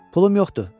Pulum yoxdur.